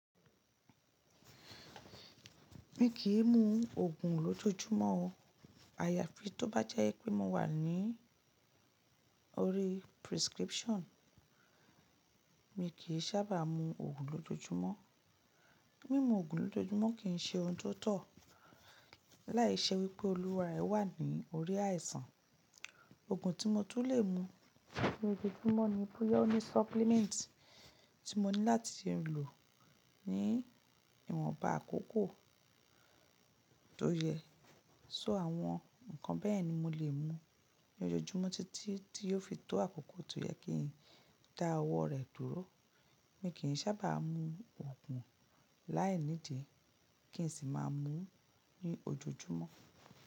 Mi kì í mu òògùn lójoojúmọ́ o. Àyàfi tó bá jẹ́ pé mo wà ní orí prescription, mi kì í sábà mu òògùn lójoojúmọ́. Mímu òògùn lójoojúmọ́ kì í ṣe ohun tó tọ̀ láìṣẹ́ wípé olùwàrẹ wà ní orí àìsàn. Òògùn tí mo tún lè mu lójoojúmọ́ ni bóyá óní supplement tí mo ní láti lò ní ìwọ̀nba àkókò tó yẹ. So àwọn ǹkan bẹ́ẹ̀ ni mo lè mu lójoojúmọ́ títí tí yóò fi tó àkókò tó yẹ kí n dá ọwọ́ rẹ̀ dúró. Mi kì í sábà mu òògùn láìnídí kí n sì má a mu ní ojoojúmọ́.